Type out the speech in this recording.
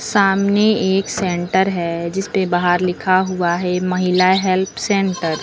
सामने एक सेंटर है जिसपे बाहर लिखा हुआ है महिला हेल्प सेंटर --